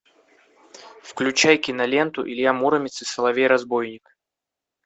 включай киноленту илья муромец и соловей разбойник